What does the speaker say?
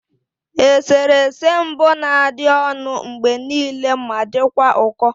Eserese mbụ na-adị ọnụ mgbe niile ma dịkwa ụkọ